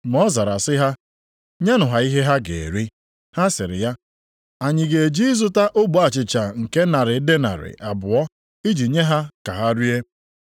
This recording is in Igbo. Ma ọ zara sị ha, “Nyenụ ha ihe ha ga-eri.” Ha sịrị ya, “Anyị ga-eje ịzụta ogbe achịcha nke narị denarị + 6:37 Otu denarị bụ ihe a na-akwụ dị ka ụgwọ ọrụ otu ụbọchị. abụọ, iji nye ha ka ha rie?”